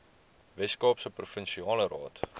weskaapse provinsiale raad